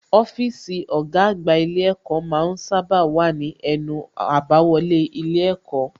Ọ́fíìsì ọ̀gá àgbà ilé ẹ̀kọ́ ma ń sábà wà ní ẹnu àbáwọlé ilé ẹ̀kọ́